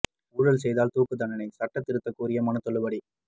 ஊழல் செய்தால் துாக்கு தண்டனை சட்ட திருத்தம் கோரிய மனு தள்ளுபடி